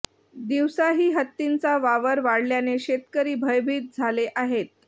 दिवसाही हत्तींचा वावर वाढल्याने शेतकरी भयभीत झाले आहेत